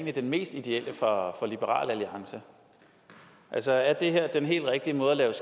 er den mest ideelle for liberal alliance altså er det her den helt rigtige måde at lave